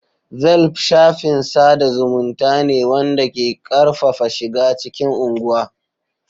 Velp shafin sada zumunta ne wanda ke karfafa shiga cikin unguwa.